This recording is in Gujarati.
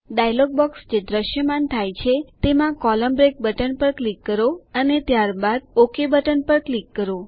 ડાયલોગ બોકસ જે દ્રશ્યમાન થાય છે તેમાં કોલમ્ન બ્રેક બટન પર ક્લિક કરો અને ત્યારબાદ ક્લિક કરો ઓક બટન પર ક્લિક કરો